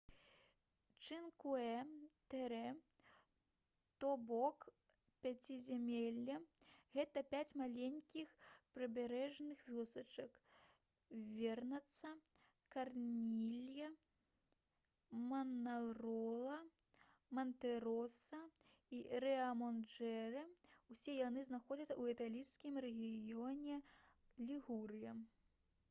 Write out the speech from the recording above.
чынкуэ тэре то бок пяцізямелле — гэта пяць маленькіх прыбярэжных вёсачак вернацца карнілья манарола мантэроса і рыамаджорэ. усе яны знаходзяцца ў італьянскім рэгіёне лігурыя